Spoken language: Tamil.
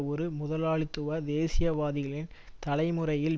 ஒரு முதலாளித்துவ தேசியவாதிகளின் தலைமுறையில்